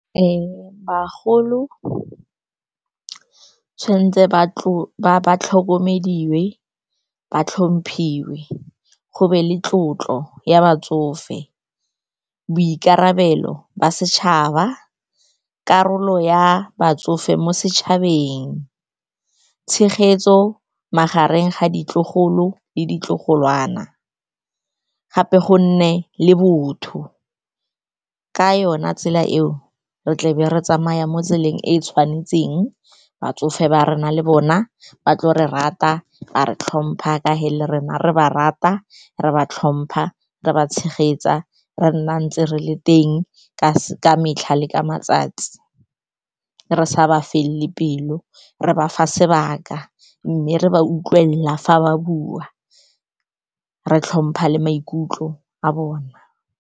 Bagolo tshwantse ba tlhokomediwe, ba tlhomphiwa, go be le tlotlo ya batsofe, boikarabelo ba setšhaba, karolo ya batsofe mo setšhabeng, tshegetso magareng ga ditlogolo le ditlogolwana gape, gonne le botho. Ka yona tsela eo re tle re tsamaya mo tseleng e e tshwanetseng. Batsofe ba rona le bona ba tlo re rata, ba re tlhompha, ka ge le rona re ba rata, re ba tlhompha, re ba tshegetsa, re nna ntse re le teng ka metlha le ka matsatsi, re sa ba felele pelo, re ba fa sebaka, mme re ba utlwelela fa ba bua, re tlhompha le maikutlo a bona.